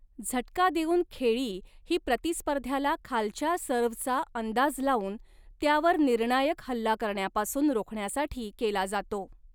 झटका देऊन खेळी ही प्रतिस्पर्ध्याला खालच्या सर्व्हचा अंदाज लावून त्यावर निर्णायक हल्ला करण्यापासून रोखण्यासाठी केला जातो.